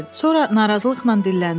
Sonra narazılıqla dilləndi.